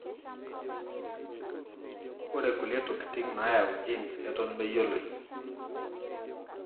Ore kulie tokitin nayau genes eton meyioloi.